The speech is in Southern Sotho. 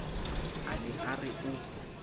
a ne a re o